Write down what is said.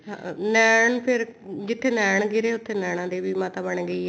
ਨੈਣ ਫ਼ੇਰ ਜਿੱਥੇ ਨੈਣ ਗਿਰੇ ਉੱਥੇ ਨੈਣਾ ਦੇਵੀ ਮਾਤਾ ਬਣ ਗਈ ਹੈ